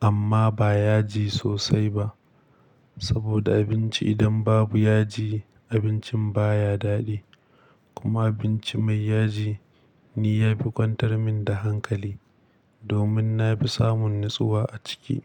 amma ba yaji sosai ba. Saboda abinci idan babu yaji, abincin baya daɗi. Kuma abinci mai yaji ni yafi kwantar min da hankali, domin nafi samun natsuwa a ciki.